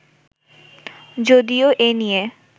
যদিও এ নিয়ে